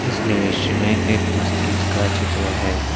इस दृश्य में एक मस्जिद का चित्र है।